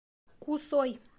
кусой